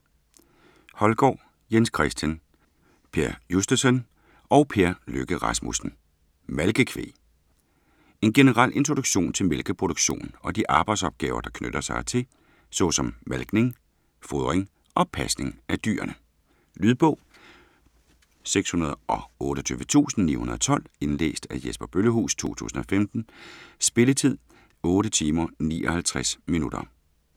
Holgaard, Jens Christian, Per Justesen og Per Lykke Rasmussen: Malkekvæg En generel introduktion til mælkeproduktion og de arbejdsopgaver, der knytter sig hertil, såsom malkning, fodring og pasning af dyrene. Lydbog 628912 Indlæst af Jesper Bøllehuus, 2015. Spilletid: 8 timer, 59 minutter.